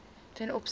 ten opsigte